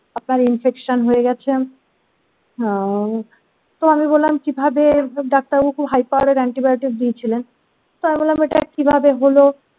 আপনার infection হয়ে গেছে হম তো আমি বললাম কিভাবে ডাক্তারবাবুকে হাই পাওয়ারের antibiotic দিয়ে ছিলেন আমি বললাম এটা কিভাবে হলো।